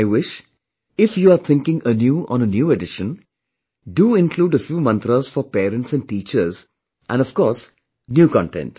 I wish; if you are thinking anew on a new edition, do include a few mantras for parents and teachers and of course new content